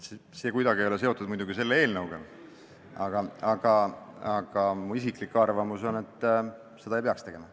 See ei ole kuidagi seotud selle eelnõuga, aga minu isiklik arvamus on, et seda ei peaks tegema.